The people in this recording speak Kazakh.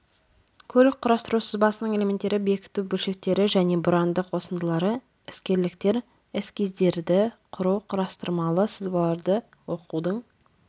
көлік құрастыру сызбасының элементтері бекіту бөлшектері және бұранды қосындылары іскерліктер эскиздерді құру құрастырмалы сызбаларды оқудың